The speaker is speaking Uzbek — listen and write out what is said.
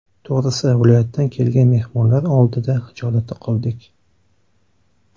To‘g‘risi, viloyatdan kelgan mehmonlar oldida xijolatda qoldik.